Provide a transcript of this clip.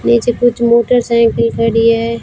नीचे कुछ मोटरसाइकिल खड़ी है।